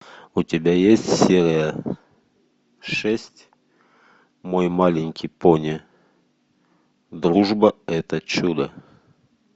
у тебя есть серия шесть мой маленький пони дружба это чудо